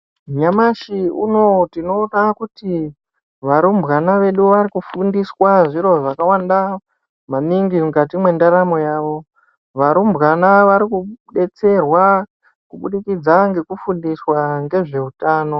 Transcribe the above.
Nyamashi unouyu tinoona kuti varumbwana vedu vari kufundiswa zviro zvakawanda maningi mukati mwendaramo yavo. Varumbwana vari kubetserwa kubudikidza ngekufundiswa ngezveutano.